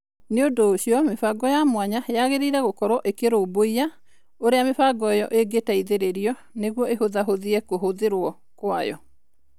Nĩ ũndũ ũcio, mĩbango ya mwanya yagĩrĩirũo gũkorũo ĩkĩrũmbũiya ũrĩa mĩbango ĩyo ĩngĩteithĩrĩrio nĩguo ĩhũthahũthie kũhũthĩrũo kwayo.